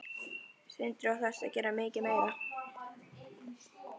Sindri: Og þarftu að gera mikið meira?